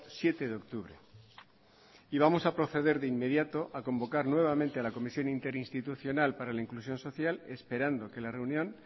siete de octubre y vamos a proceder de inmediato a convocar nuevamente a la comisión interinstitucional para la inclusión social esperando que la reunión